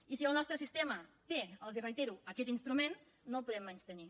i si el nostre sistema té els ho reitero aquest instrument no el podem menystenir